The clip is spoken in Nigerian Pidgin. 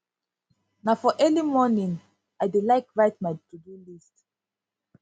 na for early morning for early morning i dey like write my todo list